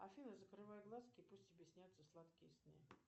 афина закрывай глазки и пусть тебе снятся сладкие сны